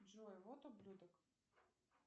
джой вот ублюдок